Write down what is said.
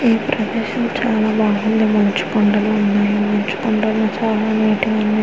ఈ ప్రదేశం చాలా బాగుంది మంచు కొండలు ఉన్నాయి మంచు కొండలు చాలా వైట్ గా ఉన్నాయి.